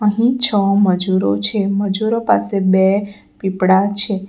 અહીં છ મજૂરો છે મજૂરો પાસે બે પીપડા છે.